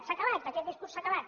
s’ha acabat aquest discurs s’ha acabat